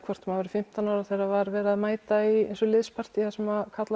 maður væri fimmtán ára þegar það var verið að mæta í liðspartý þar sem karla